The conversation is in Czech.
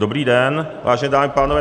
Dobrý den, vážené dámy a pánové.